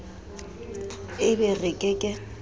e be re ke ke